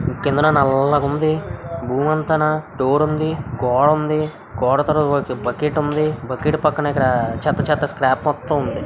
Robert బలిగొంది స్థాయిలో ఉంది. ఎం పాటులేవు. టైటిల్ కూడా చాలా బాగున్నాయి. ప్రేమలో ఉన్న తర్వాత ఇంకా చాలా ఉన్నాయ్. కేంద్ర నెలకొంది. భూమన స్టోరీ కోవడం కొడతార ఉలిక్కిపడటమే పక్కపక్కనే చక్ --